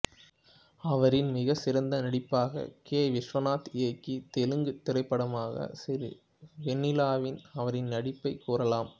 அவரின் மிகச்சிறந்த நடிப்பாக கே விஸ்வநாத் இயக்கிய தெலுங்குத் திரைப்படமான சிறிவெண்ணிலாவில் அவரின் நடிப்பைக் கூறலாம்